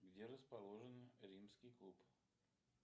где расположен римский клуб